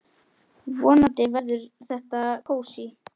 Vonandi verður þetta kósí.